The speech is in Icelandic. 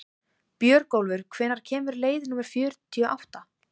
Björgólfur, hvenær kemur leið númer fjörutíu og átta?